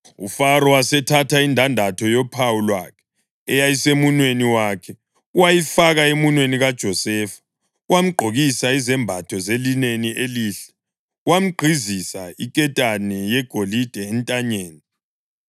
UFaro wasethatha indandatho yophawu lwakhe eyayisemunweni wakhe wayifaka emunweni kaJosefa. Wamgqokisa izembatho zelineni elihle wamgqizisa iketane yegolide entanyeni.